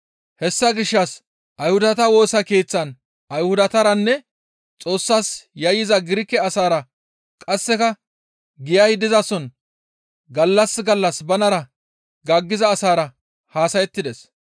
Hessa gishshas Ayhudata Woosa Keeththan Ayhudataranne Xoossas yayyiza Girike asaara qasseka giyay dizason gallas gallas banara gaaggiza asaara haasayettides.